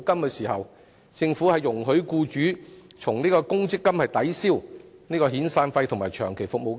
當時，政府容許僱主以公積金抵銷遣散費及長期服務金。